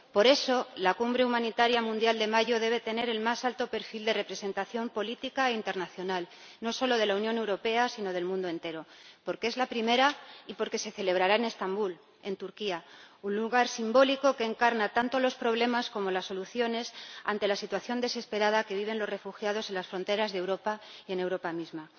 Por eso, la Cumbre Humanitaria Mundial de mayo debe tener el más alto perfil de representación política internacional, no solo de la Unión Europea sino del mundo entero, porque es la primera y porque se celebrará en Estambul, en Turquía, un lugar simbólico que encarna tanto los problemas como las soluciones ante la situación desesperada que viven los refugiados en las fronteras de Europa y en Europa misma.